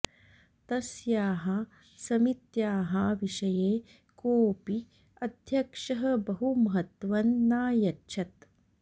तस्याः समित्याः विषये कोऽपि अध्यक्षः बहु महत्वं नायच्छत्